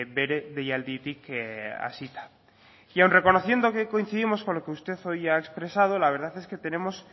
bere deialditik hasita y aun reconociendo que coincidimos con los que usted hoy ha expresado la verdad es que tenemos